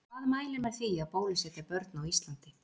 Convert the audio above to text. Hvað mælir með því að bólusetja börn á Íslandi?